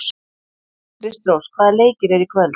Kristrós, hvaða leikir eru í kvöld?